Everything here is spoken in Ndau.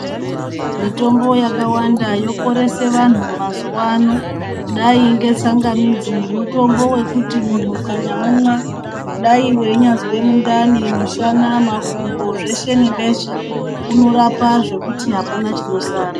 Mitombo yakawanda yoporese vantu mazuva ano kudai ngetsangamidzi mutombo vekuti muntu ukanyaumwa dai vainyazwe mundani, mushana, makumbo zveshe nebeshe. Unorapa zvekuti hapana chinosara.